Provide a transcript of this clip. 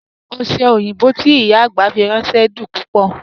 Oṣẹ́ oyinbọ́ tí ìyá agbá fi rànṣẹ̀ dún púpọ̀.